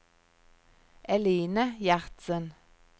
Eline Gjertsen